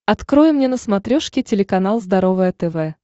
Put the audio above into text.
открой мне на смотрешке телеканал здоровое тв